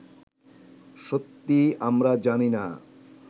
সত্যি আমরা জানি না